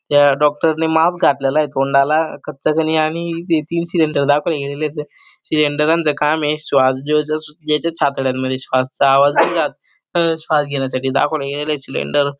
त्या डॉक्टरने मास्क घातलेलाय तोंडाला आणि इथे तीन सिलेंडर दाखवले गेलेलेत सिलेंडराच काम श्वास जो जो ज्यांच्या छातडांमध्ये श्वासचा आवाज नाही राहत श्वास घेण्यासाठी दाखवले गेलेलेय सिलेंडर --